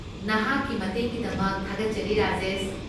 ꯅꯍꯥꯛꯀꯤ ꯃꯇꯦꯡꯒꯤꯗꯃꯛ ꯊꯥꯒꯠꯆꯔꯤ, ꯔꯥꯖꯦꯁ꯫